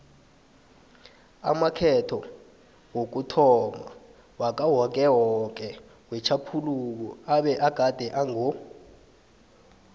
amakhetho wokuthomma wakawokewoke wetjhaphuluko abegade ango